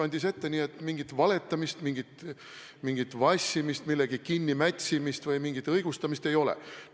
Nii et mingit valetamist, mingit vassimist, millegi kinnimätsimist või mingit õigustamist ei ole.